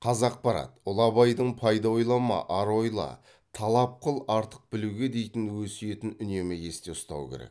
қазақпарат ұлы абайдың пайда ойлама ар ойла талап қыл артық білуге дейтін өсиетін үнемі есте ұстау керек